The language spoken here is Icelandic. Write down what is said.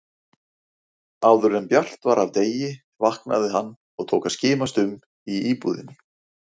Áðuren bjart var af degi vaknaði hann og tók að skimast um í íbúðinni.